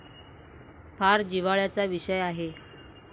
फार जिव्हाळ्याचा विषय आहे.